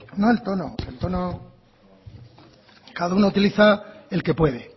no el tono el tono cada uno utiliza el que puede